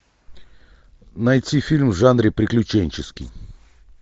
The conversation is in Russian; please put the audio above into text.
найти фильм в жанре приключенческий